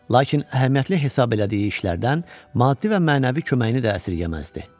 Lakin əhəmiyyətli hesab elədiyi işlərdən maddi və mənəvi köməyini də əsirgəməzdi.